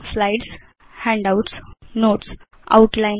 slides handouts Notes outline